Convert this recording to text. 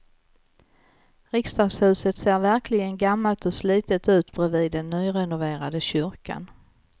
Riksdagshuset ser verkligen gammalt och slitet ut bredvid den nyrenoverade kyrkan.